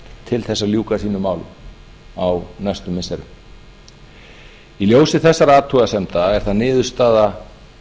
til þess að ljúka sínum málum á næstu missirum í ljósi þessara athugasemda er það niðurstaða